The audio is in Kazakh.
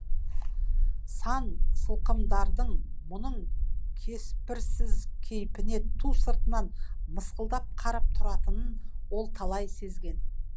сан сылқымдардың мұның кеспірсіз кейпіне ту сыртынан мысқылдап қарап тұратынын ол талай сезген